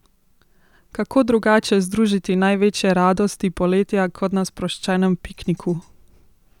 Kako drugače združiti največje radosti poletja kot na sproščenem pikniku?